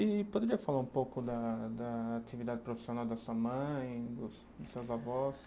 E poderia falar um pouco da da atividade profissional da sua mãe, dos dos seus avós?